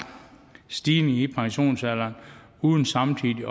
stigning i pensionsalderen uden samtidig